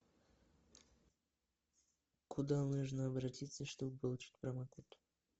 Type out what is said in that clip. куда можно обратиться чтобы получить промокод